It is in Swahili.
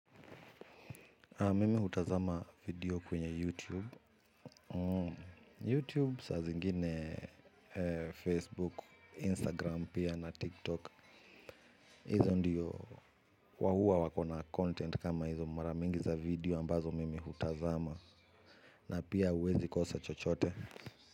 Mimi hutazama video kwenye YouTube YouTube saa zingine Facebook, Instagram pia na TikTok. Hizo ndiyo wao huwa wako na content kama hizo mara mingi za video ambazo mimi hutazama. Na pia huwezi kosa chochote.